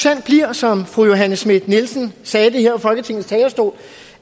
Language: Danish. som fru johanne schmidt nielsens sagde her fra folketingets talerstol